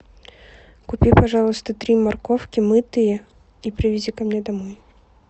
купи пожалуйста три морковки мытые и привези ко мне домой